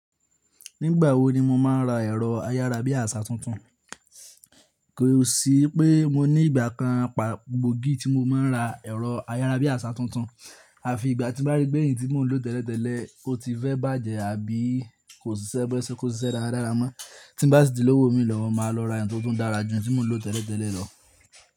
Nígbà wo ni mo máa ń ra ẹ̀rọ ayárabíàṣà tuntun? Kò sí pé mo ní ìgbà kan pàgbogí tí mo máa ń ra ẹ̀rọ ayárabíàṣà tuntun, à fi ìgbà tí mo bá rí pé èyí tí mò ń lò tẹ́lẹ̀tẹ́lẹ̀ o ti fẹ́ bàjẹ́ àbí kò ṣisẹ́ bo se yẹ ko sisẹ́ dáradára mọ́. Tí n bá sì ti lówó mi lọwọ, mo máa lọ ra eyi tó tún dára jù eyi tí mò ń lò tẹ́lẹ̀tẹ́lẹ̀ lọ.